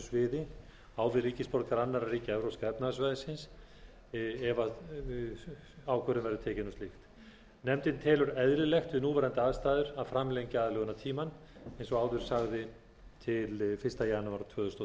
sviði á við ríkisborgara annarra ríkja evrópska efnahagssvæðisins ef ákvörðun verður tekin um slíkt nefndin telur eðlilegt við núverandi aðstæður að framlengja aðlögunartímann eins og áður sagði til fyrsta janúar tvö þúsund